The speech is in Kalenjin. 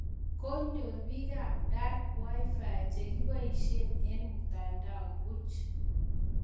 Konyor pik ap Dar Wi-Fi chekipoishe eng mtandao puch.